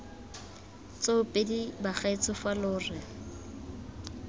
tsoopedi bagaetsho fa lo re